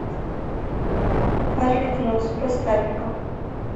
карлик нос поставь ка